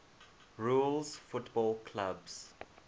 rules football clubs